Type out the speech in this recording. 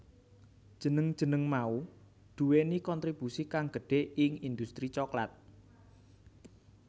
Jeneng jeneng mau nduwéni kontribusi kang gedhé ing industri coklat